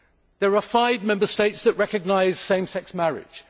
There are five Member States that recognise same sex marriage.